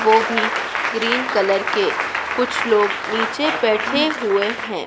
वो भी cream colour के कुछ लोग नीचे बैठे हुए हैं।